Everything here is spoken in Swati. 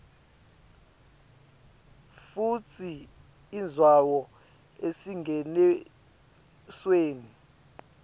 futsi indzawo esingenisweni